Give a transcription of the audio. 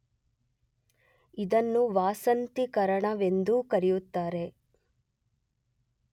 ಇದನ್ನು ವಾಸಂತೀಕರಣವೆಂದೂ ಕರೆಯುತ್ತಾರೆ.